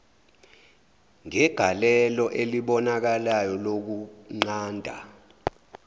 ngegalelo elibonakalayo lokunqanda